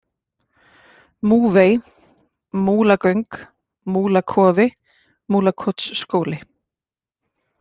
Múfey, Múlagöng, Múlakofi, Múlakotsskóli